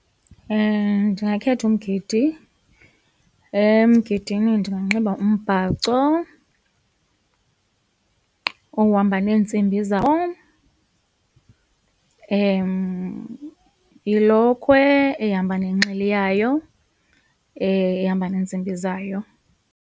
Ndingakhetha umgidi, emgidini ndinganxiba umbhaco ohamba neentsimbi zawo ilokhwe ehamba nenxili yayo, ehamba neentsimbi zayo.